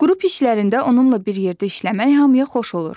Qrup işlərində onunla bir yerdə işləmək hamıya xoş olur.